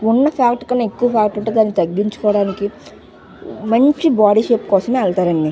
ఉన్న ఫాట్ కన్నా దాని ఎక్కువ ఫాట్ ఉంటే దాని తగిచుకోవడానికి మంచి బాడీ షేప్ కోసం ఎల్తారండి.